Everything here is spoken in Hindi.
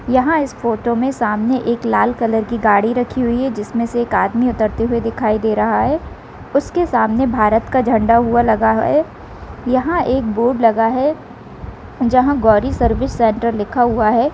यहाँ इस फोटो में सामने एक लाल कलर की गाड़ी रखी हुई है जिसमे से एक आदमी उतरते हुए दिखाई दे रहा है उसके सामने भारत्त का झंडा हुआ लगा है यहाँ एक बोर्ड लगा है जहाँ गौरी सर्विस सेंटर लिखा हुआ है।